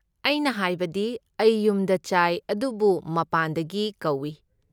ꯑꯩꯅ ꯍꯥꯏꯕꯗꯤ, ꯑꯩ ꯌꯨꯝꯗ ꯆꯥꯏ ꯑꯗꯨꯕꯨ ꯃꯄꯥꯟꯗꯒꯤ ꯀꯧꯏ꯫